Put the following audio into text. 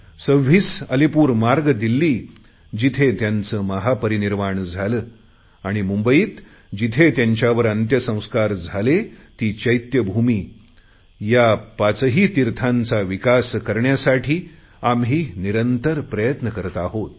26 अलीपूर मार्ग दिल्ली जिथे त्यांचे महापरिनिर्वाण झाले आणि मुंबईत जिथे त्यांच्यावर प्रयत्न करत आहोत